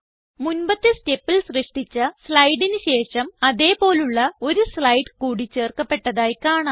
മുൻപത്തെ സ്റ്റെപ്പിൽ സൃഷ്ടിച്ച സ്ലൈഡിന് ശേഷം അതേ പോലുള്ള ഒരു സ്ലൈഡ് കൂടി ചേർക്കപ്പെട്ടതായി കാണാം